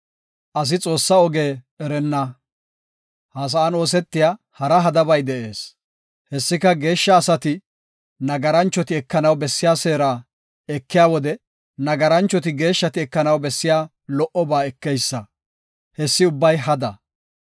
Ha sa7an oosetiya hara hadabay de7ees. Hessika, geeshsha asati, nagaranchoti ekanaw bessiya seera ekiya wode nagaranchoti geeshshati ekanaw bessiya lo77oba ekeysa; hessi ubbay hada.